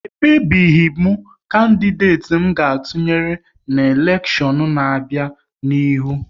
E kpebebeghi m kandideti m ga-atụnyere n'elekshion n'abia n'ihu